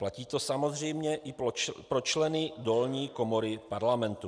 Platí to samozřejmě i pro členy dolní komory Parlamentu.